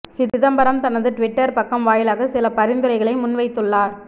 சிதம்பரம் தனது ட்விட்டர் பக்கம் வாயிலாக சில பரிந்துரைகளை முன்வைத்துள்ளார்